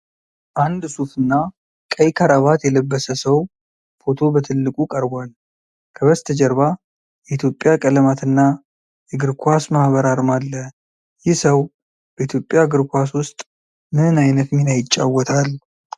አንድ ሱፍ እና ቀይ ክራባት የለበሰ ሰው ፎቶ በትልቁ ቀርቧል። ከበስተጀርባ የኢትዮጵያ ቀለማትና የእግር ኳስ ማህበር አርማ አለ። ይህ ሰው በኢትዮጵያ እግር ኳስ ውስጥ ምን ዓይነት ሚና ይጫወታል?